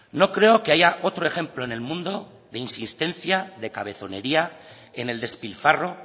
no creo que haya otro ejemplo en el mundo de insistencia de cabezonería en el despilfarro